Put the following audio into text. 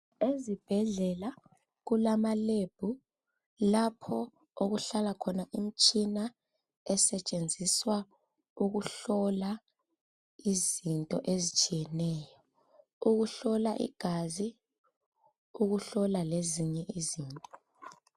Ezibhedlela kulama lab lapho okuhlala khona imtshina esetshenziswa ukuhlola izinto ezitshiyeneyo. Ukuhlola igazi, ukuhlola lezinye izinto.